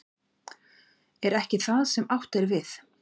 Er ekki það sem átt er við?